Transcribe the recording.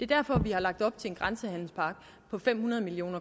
derfor vi har lagt op til en grænsehandelspakke på fem hundrede million